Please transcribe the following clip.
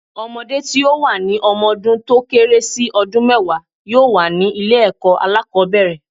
Ọmọdé tí ó wà ní ọmọ dún tó kéré sí ọdún mẹ́wàá yóò wà ní ilé ẹ̀kọ́ alákòbẹ̀rẹ̀.